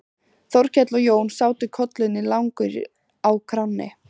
Þórkell og Jón sátu kollunni lengur á kránni.